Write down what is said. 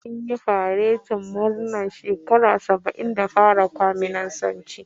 Dakarun tsaron Bejin sun yi faretin murnar shekara saba'in da fara kwaminisanci.